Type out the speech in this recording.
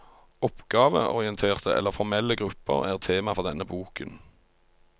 Oppgaveorienterte eller formelle grupper er tema for denne boken.